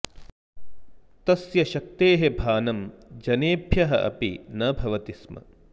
तस्य शक्तेः भानं जनेभ्यः अपि न भवति स्म